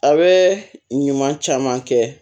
A bɛ ɲuman caman kɛ